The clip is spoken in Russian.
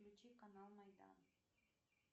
включи канал майдан